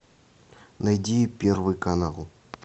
найди первый канал